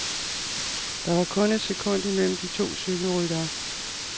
Der var kun et sekund imellem de to cykelryttere.